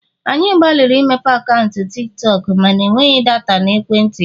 anyị gbalịrị imepe akaụntụ Tik tọk mana enweghị data na ekwentị ya